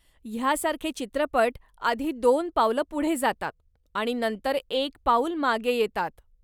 ह्यासारखे चित्रपट आधी दोन पावलं पुढे जातात आणि नंतर एक पाऊल मागे येतात.